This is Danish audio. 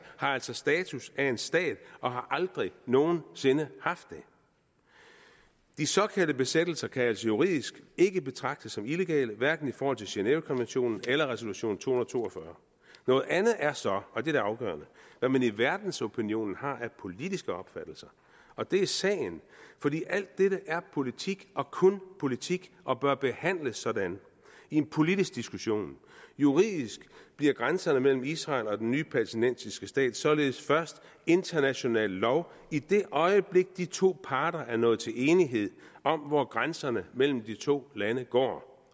altså status af en stat og har aldrig nogen sinde haft det de såkaldte besættelser kan altså juridisk ikke betragtes som illegale hverken i forhold til genèvekonventionen eller resolution to hundrede og to og fyrre noget andet er så og det er det afgørende hvad man i verdensopinionen har af politiske opfattelser og det er sagen fordi alt dette er politik og kun politik og bør behandles sådan i en politisk diskussion juridisk bliver grænserne mellem israel og den nye palæstinensiske stat således først international lov i det øjeblik de to parter er nået til enighed om hvor grænserne mellem de to lande går